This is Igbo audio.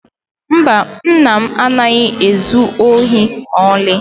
Mba nna m adịghị ezu ohi ma ọli.